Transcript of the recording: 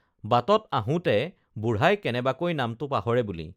বাটত আহোঁতে বুঢ়াই কেনেবাকৈ নামটো পাহৰে বুলি